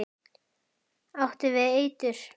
Áttu við eitur.